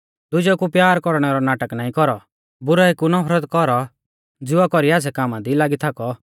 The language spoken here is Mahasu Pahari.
दुजेऊ कु प्यार कौरणै रौ नाटक नाईं कौरौ बुराई कु नफरत कौरौ ज़िवा कौरी आच़्छ़ै कामा दी लागी थाकौ